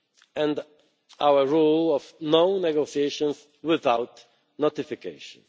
and our rule of no negotiations without notification'.